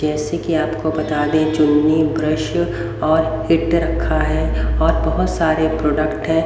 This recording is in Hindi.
जैसे कि आपको बता दें चुन्नी ब्रश और हिटर रखा है और बहुत सारे प्रोडक्ट है।